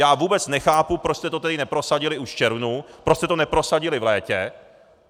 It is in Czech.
Já vůbec nechápu, proč jste to tedy neprosadili už v červnu, proč jste to neprosadili v létě.